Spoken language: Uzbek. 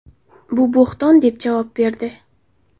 Bu bo‘hton” deb javob berdi.